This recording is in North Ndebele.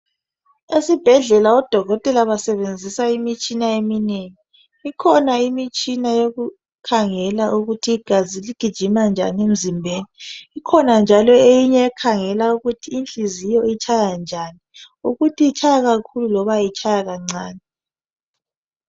Esibhedlela odokotela basebenzisa imitshina eminengi ikhona imitshina yokukhangela ukuthi igazi ligijima njani emzimbeni ikhona njalo eyinye ekhangela ukuthi inhliziyo itshaya njani ukuthi itshaya kakhulu loba itshaya kancane.